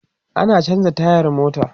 Ina chanza tayar mota